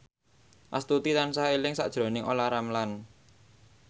Astuti tansah eling sakjroning Olla Ramlan